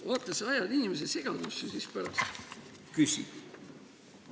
Vaata, sa ajad inimese segadusse ja siis pärast küsid ...